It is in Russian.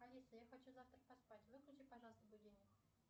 алиса я хочу завтра поспать выключи пожалуйста будильник